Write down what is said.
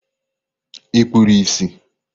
Ị kpuru ìsì?